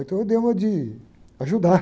Então eu dei uma de ajudar.